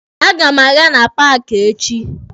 A ga m aga na paaki echi.